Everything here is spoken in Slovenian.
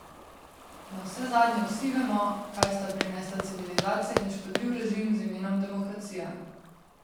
Navsezadnje vsi vemo, kaj sta prinesla civilizacija in škodljiv režim z imenom demokracija.